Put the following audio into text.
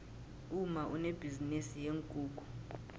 umma unebhizinisi yeenkukhu